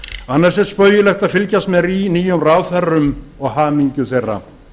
annars er spaugilegt að fylgjast með nýjum ráðherrum og hamingju þeirra